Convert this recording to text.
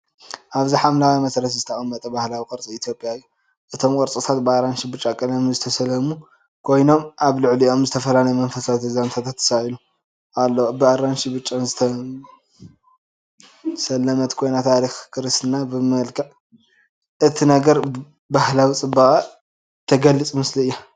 ኣብዚ ሓምለዋይ መሰረት ዝተቐመጠ ባህላዊ ቅርፂ ኢትዮጵያ እዩ። እቶም ቅርጻታት ብኣራንሺን ብጫን ቀለም ዝተሰለሙ ኮይኖም፡ ኣብ ልዕሊኦም ዝተፈላለየ መንፈሳዊ ዛንታታት ተሳኢሉ ኣሎ። ብኣራንሺን ብጫን ዝተሰለመት ኮይና፡ ታሪኽ ክርስትና ብመልክዕ እትነግር ባህላዊ ጽባቐ ትገልጽ ምስሊ እያ።